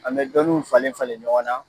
An bɛ dɔniw falen falen ɲɔgɔn na.